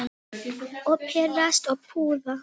Og pirrast og puða.